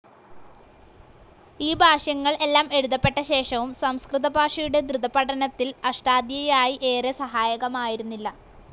ഈ ഭാഷ്യങ്ങൾ എല്ലാം എഴുതപ്പെട്ടശേഷവും സംസ്കൃതഭാഷയുടെ ധൃതപഠനത്തിൽ അഷ്ടാദ്ധ്യായി ഏറെ സഹായകമായിരുന്നില്ല.